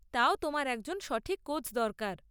তাও তোমার একজন সঠিক কোচ দরকার।